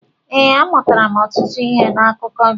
Ee, amụtara ọtụtụ ihe n'akụkọ gị.